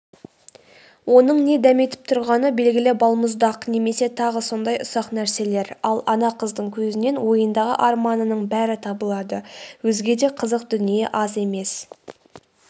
оның не дәметіп тұрғаны белгілі балмұздақ немесе тағы сондай ұсақ нәрселер ал ана қыздың көзінен ойындағы арманының бәрі табылады өзге де қызық дүние аз емес